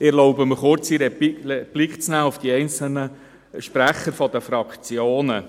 Ich erlaube mir eine kurze Replik auf die einzelnen Sprecher der Fraktionen.